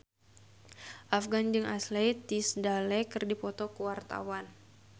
Afgan jeung Ashley Tisdale keur dipoto ku wartawan